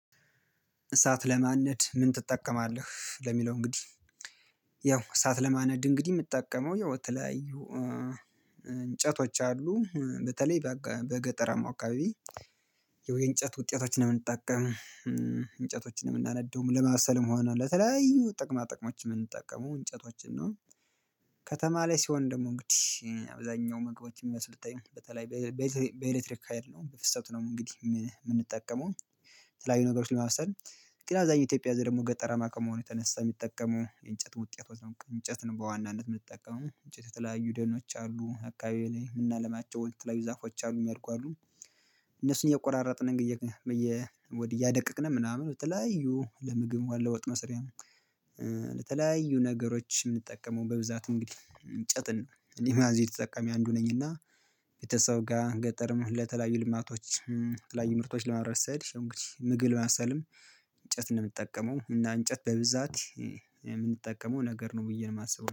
እሳት ለማንነድ ምን ትጠቀማለህ ለሚለው? እንግዲህ ያው እሳት ለማነድ እንግዲህ የምጠቀመው ያው በተለያዩ እንጨቶች አሉ በተለይ በገ በገጠራማው አካባቢ የውይ እንጨት ውጤቶችን ነው የምንጠቀመው እንጨቶችን ነው የምናነደው ለማብሰልም ሆነ ለተለያዩ ጥቅማ ጥቅሞችን የምንጠቀሙ እንጨቶችን ነው። ከተማ ላይ ሲሆን ደግሞ እንግዲህ አብዛኛው ምግቦች ሚመስሉትኝ በተለይ በዜ በኤሌክትሪክ ሀይል ነው ፍሰት ነው እንግዲህ የምንጠቀመው የተለያዩ ነገሮችን ለማብሰል። ኢትዮጵያ ዘይ ደግሞ ገጠራማ ከመሆኑ ተነሳ የሚጠቀሙ የእንጨት ውጤት ወይም እንጨት ነው በዋናነት የምትጠቀሙ እንጨት የተለያዩ ደኖች አሉ አካባቢው ላይ ምናለማቸው የተለያዩ ዛፎች አሉኝ ያልኩ አሉ። እነሱን የቆራረጥን እንግዲህ እየ ወዲ እያደቀቅነ ምናምን በተለያዩ ለምግብ መለ ወጥ መስሪያ። በተለያዩ ነገሮች የምንጠቀመው በብዛት እንግዲህ እንጨትን ነው ሊማዚ ተጠቃሚ አንዱ ነኝ እና። ቤተሰብ ጋር ገጠርም ለተለያዩ ልማቶች ተለያዩ ምርቶች ለማምረት ስሄድ ይሄው እንግዲህ ምግብ ለማብሰልም እንጨት ነው የምጠቀመው። እና እንጨት በብዛት የምንጠቀመው ነገር ነው ብዬ ነው የማስበው